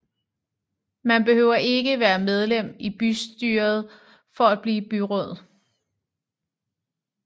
Man behøver ikke være medlem i bystyret for at blive byråd